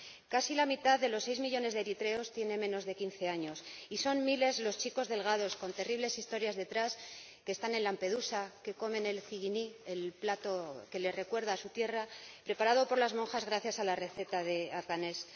Casi la mitad de los seis millones de eritreos tiene menos de 15 años, y son miles los chicos delgados con terribles historias detrás que están en Lampedusa, que comen el zighini, el plato que les recuerda a su tierra, preparado por las monjas gracias a la receta de Alganesh.